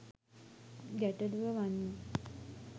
ගැටළුව වන්නේ